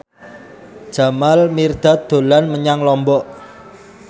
Jamal Mirdad dolan menyang Lombok